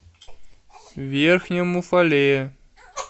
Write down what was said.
верхнем уфалее